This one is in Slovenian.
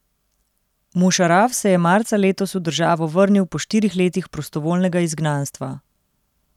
Mušaraf se je marca letos v državo vrnil po štirih letih prostovoljnega izgnanstva.